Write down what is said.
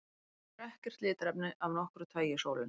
Það er ekkert litarefni af nokkru tagi í sólinni.